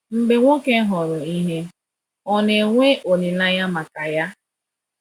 Mgbe nwoke hụrụ ihe, ọ̀ na-enwe olileanya maka ya?